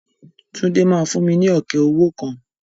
Túndé máa fún mi ní ọ̀kẹ́ owó kan.